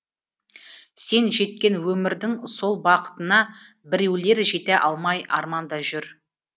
сен жеткен өмірдің сол бақытына біреулер жете алмай арманда жүр